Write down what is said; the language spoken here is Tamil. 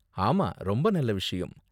ஆமா, ரொம்ப நல்ல விஷயம்.